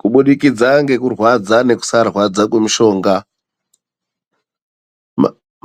Kubudikidza ngekurwadza, nekusarwadza kwemishonga.